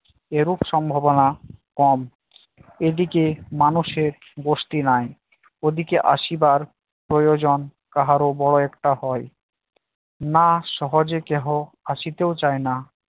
এরূপ সম্ভাবনা কম এদিকে মানুষের বসতি নাই ওদিকে আসিবার প্রয়োজন কাহারো বড় একটা হয় না সহজে কেহ আসিতেও চায়না